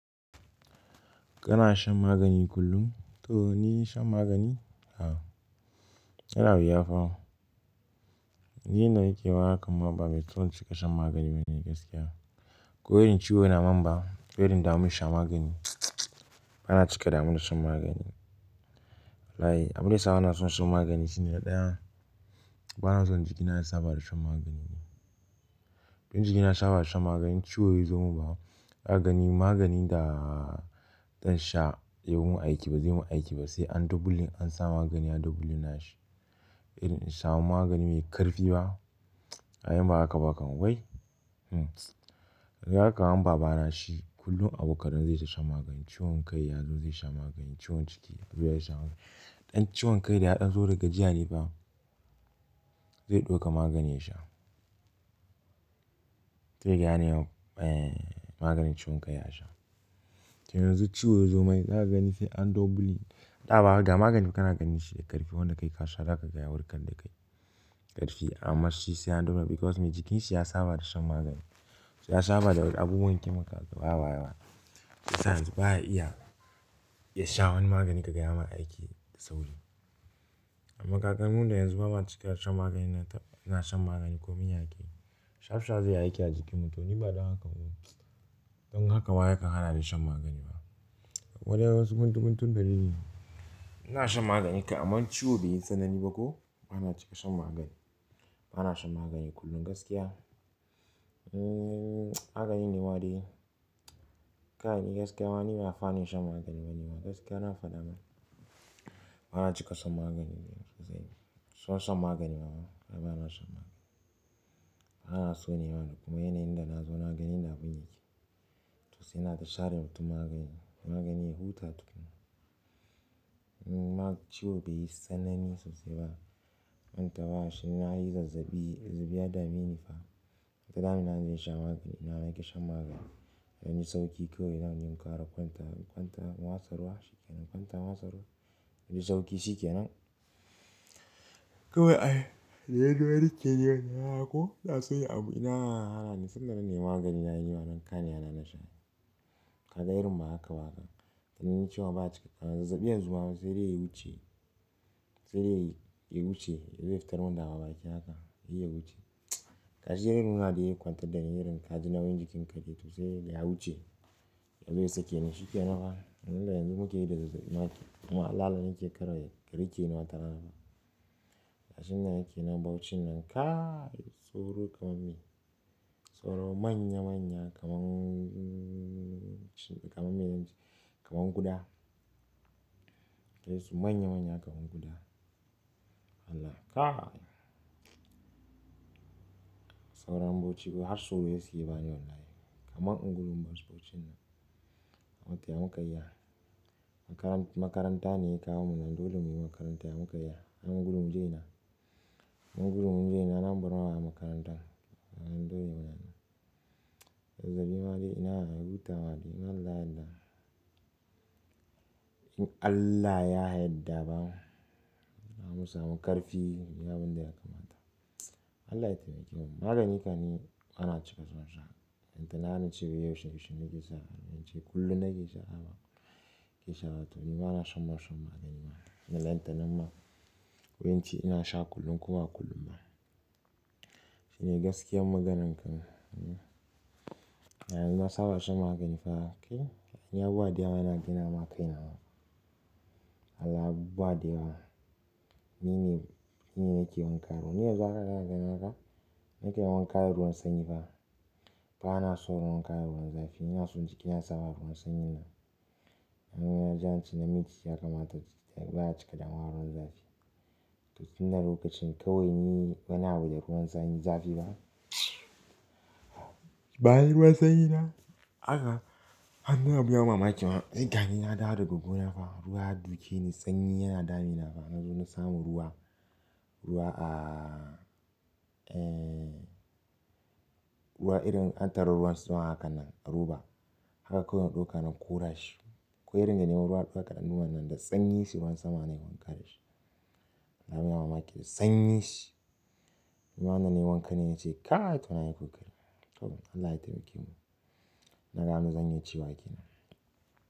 Kana shan magani kullum? To ni shan magani? A'a. Yana wuya fa. Ni inda nake ma hakan ma ba mai ciwon cika shan magani bane gaskiya. Ko irin ciwo ya dameni ba, ko irin in damu in shan magani. Bana cika in damu da shan magani. Abunda yasa bana son shan magani shine na ɗaya, bana so jikina ya saba da shan magani ne. Don in jikina ya saba da shan magani ciwo yazo min ba, zaka gani maganin da zan sha yayi min aiki ba zai min aiki ba sai an doubling an sa magani yayi doubling nashi. Irin in samu magani mai ƙarfi ba, ai in ba haka ba kam wai. Hmm. Kaga kaman babana shi kullum abu kadan zai ta shan magani. Ciwon kai yazo zai sha magani, ciwon ciki ya sha magani. Ɗan ciwon kai da ya ɗan zo da gajiya ne fa, zai ɗauka magani ya sha. Sai kaga ya nemi, eh maganin ciwon kai ya sha. To yanzu ciwo yazo mai, za ka gani sai an doubling. Ɗa ba haka, ga magani kana gani shi da ƙarfi wanda kai ka sha zaka ga ya warkar da kai, ƙarfi amma shi sai an double because me jikin shi ya saba da shan magani. Ya saba da abubuwan kemikal waye waye waye. Shi yasa yanzu baya iya ya sha wani magani kaga yayi mai aiki da sauri. Amma kaga mu da yanzu bama cika shan magani na shan magani ko min aiki. Shaf shaf zai aiki a jikinmu. To ni badan haka ba. Don haka ma yakan hana ni shan magani ba. Akwai dai wasu guntu guntun dalili, ina shan magani kam amma ciwo bai yi tsanani ba ko bana cika shan magani. Bana shan magani kullum gaskiya. Hmm, magani ne ma dai, Kai ni gaskiya ma ni ba mai fani shan magani bane magani. Gaskiya na fada mana. Bana cika shan magani ne. Ban son magani fa, ai bana shan magani. Bana so ne mana. Kuma yanayin dana zo na gani yanda abin yake. To sai ina ta sharewa mutum magani. Magani ya huta tukuna. Hmm, amma ciwo bai yi tsanani sosai ba. Kwanta ba shi na yi zazzabi, zazabi ya dameni fa. Ai ta damuna inje in sha magani, ina naki shan magani. Idan na ji sauƙi kawai zanje in kara kwantawa, in kwanta, in watsa ruwa shi ke nan. Kwanta watsa ruwa. Idan naji sauƙi shi ke nan. Kawai ai, dai yanzu har ke ne wani haka ko na sanya abu ina, hana ni tunda na nemi magani na yi mana kanina na sha. Ka ga irin ma haka ba haka. Dan ni ciwon ba cika, a zazzabi yanzu ma sai dai ya wuce. Sai dai ya wuce. Ya yi fitar mun da baki yake haka. Ya wuce. Kashi dai irin haka dai kwantar da ni irin ka ji nauyiin jikin ka dai to sai kaga ya wuce. Yanzu dai sake ni shi ke nan ba. Dan dai yanzu muke yi da zazzabi, muna lalalen yake karawa yake rike ni wata rana ba. Kasan nan yake nan baucin nan kai tsoro kamar mai. Tsoro manya manya kamar, hmm, kamar mai yanzu kamar kuda. Kai su manya manya kamar kuda. Allah ka. Sauron bauchi ko har tsoro yake bani wallahi. Kaman in gudu in basu wajen nan. Amma to ya mu kai ya. Makarant, makaranta ne ya kawo mu nan dole muyi makaranta ya mu kai ya. Amma mu gudu mu je ina? In mun gudu mu je ina? An bar mu a makarantar. Ai dole muna nan. Zazzabi ma dai ina, ya huta ma dai. Allah ya yadda. In Allah ya yarda ba, zamu samu ƙarfi, abin da ya kamata. Allah ya taimake mu. Magani ka ni bana cika son sha. Balantana nace yau shan shi nake sha. In ce kullum nake sha haba. Ke sha ba to ni bana san ma shan magani ma. Ba lantana ma. Ko in ce ina sha kullum kuma kullum ma. Shine gaskiyar maganan kawai. Hmm. A yanzu inna saba da shan magani fa. Kai, in ya abubuwa da yawa gani ma akai na. Allah abubuwa da yawa. Ni ne, ni ne yake wanka ruwa. Ni yanzu haka kan gani haka. Ni ke wanka da ruwan sanyi fa. Ba na son yin wanka da ruwan zafi. Ina so jikina ya saba da ruwan sanyi nan. Amma yanzu ance namiji ya kamata. Baya cika damuwa da ruwan zafi. To shine lokacin kawai ni wani abu da ruwan sanyi zafi ba. Bayi ruwa sanyi na. Haka. Amina babu yawon mamaki ma. Ni gani na dawo daga gona fa. Ruwa dakeni sanyi yana damu na fa. Na zo na samu ruwa. Ruwa a, eh, ruwa irin an tari ruwan sama hakan nan a roba. Haka kawai na ɗauka na kora shi. Ko irin na nemi ruwa ɗauka danu wannan da sanyin shi ruwan sama nayi wanka daashi. Abin mamaki da sanyin shi. Amma da nayi wanka ne yace. Kainto nayi kokari. Allah ya taimake mu. Ina ga abinda zan iya cewa kenan.